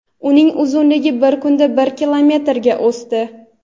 uning uzunligi bir kunda bir kilometrga o‘sdi.